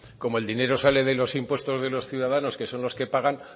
como el dinero sale de los impuestos de los ciudadanos que son los que pagan